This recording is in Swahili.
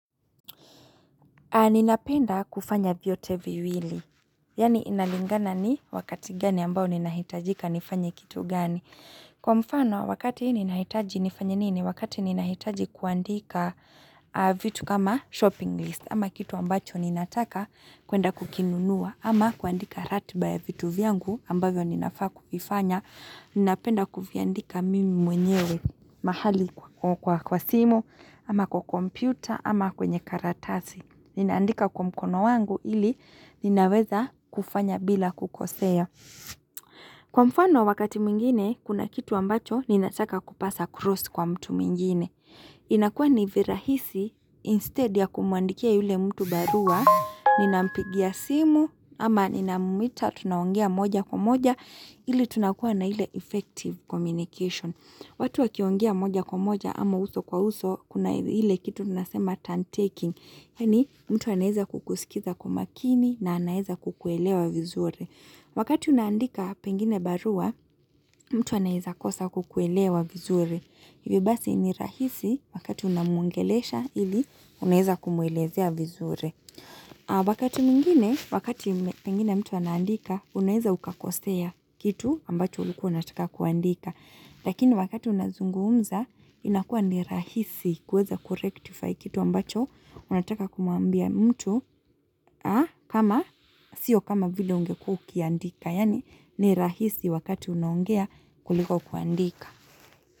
Ninapenda kufanya vyote viwili, yani inalingana ni wakati gani ambao ninahitajika nifanye kitu gani. Kwa mfano wakati ninahitaji nifanye nini, wakati ninahitaji kuandika vitu kama shopping list ama kitu ambacho ninataka kuenda kukinunua ama kuandika ratibaya vitu viangu ambayo ninafaa kuvifanya. Ninapenda kuviandika mimi mwenyewe mahali kwa kwa simu ama kwa kompyuta ama kwenye karatasi. Ninaandika kwa mkono wangu ili ninaweza kufanya bila kukoseo. Kwa mfano wakati mwingine, kuna kitu ambacho, ninachaka kupasa cross kwa mtu mwingine. Inakua nivirahisi, instead ya kumuandikia yule mtu barua, ninampigia simu, ama ninamumita, tunaongea moja kwa moja, ili tunakua na hile effective communication. Watu wakiongea moja kwa moja, ama uso kwa uso, kuna hile kitu tunasema turn taking. Yani mtu anahiza kukusikiza kumakini na anahiza kukuelewa vizuri. Wakati unandika pengine barua, mtu anahiza kosa kukuelewa vizuri. Ivi basi ni rahisi wakati unamungelesha ili unahiza kumuelezea vizuri. Wakati mwingine, wakati pengine mtu anahiza, unahiza ukakosea kitu ambacho ulikuaunataka kuandika. Lakini wakati unazunguumza inakua nirahisi kuweza kurektify kitu ambacho unataka kumuambia mtu kama sio kama vile ungeku kia ndika. Yani nirahisi wakati unongea kuliko kuandika.